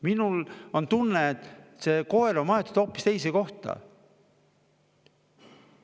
Minul on tunne, et see koer on maetud hoopis teise kohta.